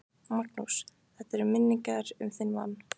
Magnús: Þetta er til minningar um þinn mann?